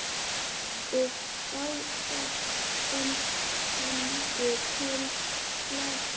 Og báðir fengu tólf slagi.